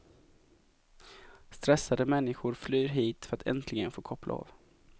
Stressade människor flyr hit för att äntligen få koppla av.